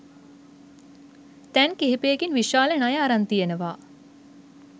තැන් කිහිපයකින් විශාල ණය අරන් තියෙනවා.